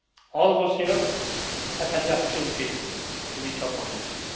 All of us here have had the opportunity to reach our potential